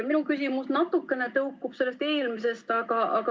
Minu küsimus natukene tõukub sellest eelmisest.